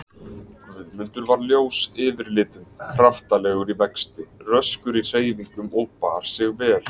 Guðmundur var ljós yfirlitum, kraftalegur í vexti, röskur í hreyfingum og bar sig vel.